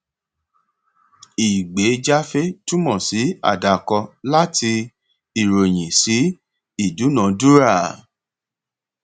ìgbéjáfé túmọ sí àdàkọ láti ìròyìn sí ìdúnadúrà